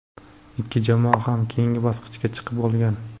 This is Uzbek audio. Ikki jamoa ham keyingi bosqichga chiqib bo‘lgan.